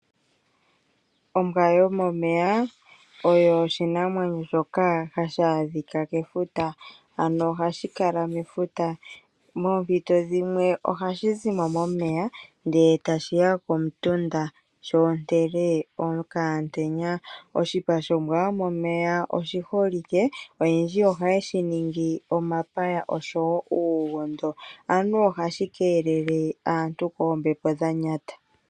Ombwa yomomeya oyo oshinamwenyo shoka hashi adhika kefuta. Ano ohashi kala mefuta. Poompito dhimwe ohashi zimo momeya ndele tashiya komutunda sho ontele okaantenya. Oshipa shombwa yomomeya oshi holike. Oyendji ohaye shi ningi omapaya oshowo uugondo. Anuwa ohashi keelele aantu koombepo dhanyata.